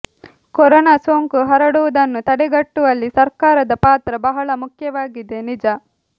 corona ಸೋಂಕು ಹರಡುವುದನ್ನು ತಡೆಗಟ್ಟುವಲ್ಲಿ ಸರ್ಕಾರದ ಪಾತ್ರ ಬಹಳ ಮುಖ್ಯವಾಗಿದೆ ನಿಜ